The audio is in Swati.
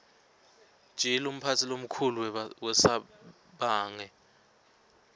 gill umaqumphatsi lomkhulu wasebange